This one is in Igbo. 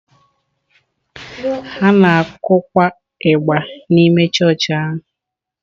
Ha na-akụkwa ịgbà n’ime chọọchị ahụ.